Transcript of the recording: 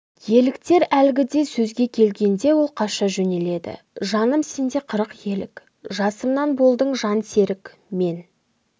еліктер әлгіде сөзге келгенде ол қаша жөнеледі жаным сенде қырық елік жасымнан болдың жан серік мен